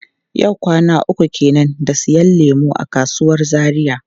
Yau kwana uku kenan da siyan lemu a kasuwar Zaria.